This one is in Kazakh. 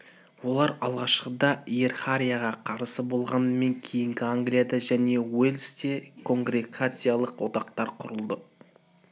олар алғашқыда иерархияға қарсы болғанымен кейіннен англияда және уэльсте конгрегациялық одақтар құрылды